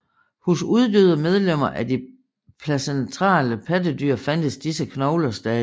Hos uddøde medlemmer af de placentale pattedyr fandtes disse knogler stadig